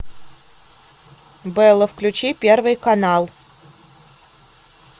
белла включи первый канал